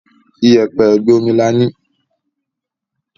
Iyẹ̀pẹ̀ ègbé omi là ní